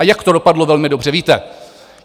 A jak to dopadlo, velmi dobře víte.